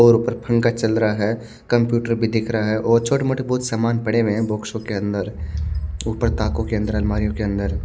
और ऊपर पंखा का चल रहा है कंप्यूटर भी दिख रहा है और छोटे मोटे कुछ बहुत सामान पड़े हैं बॉक्स के अंदर ऊपर ताको के अंदर अलमारीयो के अंदर --